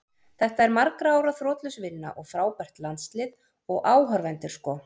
Þetta er margra ára þrotlaus vinna og frábært landslið, og áhorfendur sko.